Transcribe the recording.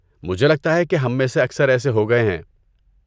مجھے لگتا ہے کہ ہم میں سے اکثر ایسے ہو گئے ہیں۔